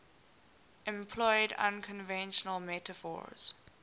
employed unconventional metaphors